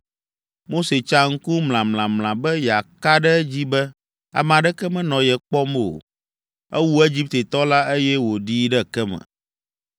Mose tsa ŋku mlamlamla be yeaka ɖe edzi be ame aɖeke menɔ ye kpɔm o. Ewu Egiptetɔ la, eye wòɖii ɖe ke me.